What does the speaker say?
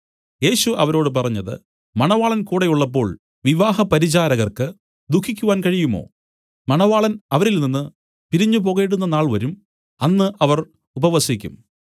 യേശു അവരോട് പറഞ്ഞത് മണവാളൻ കൂടെയുള്ളപ്പോൾ വിവാഹ പരിചാരകർക്ക് ദുഃഖിപ്പാൻ കഴിയുമോ മണവാളൻ അവരിൽനിന്ന് പിരിഞ്ഞുപോകേണ്ടുന്ന നാൾ വരും അന്ന് അവർ ഉപവസിക്കും